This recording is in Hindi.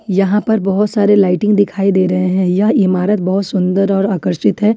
यहां पर बहुत सारे लाइटिंग दिखाई दे रहे हैं यह इमारत बहुत सुंदर और आकर्षित है।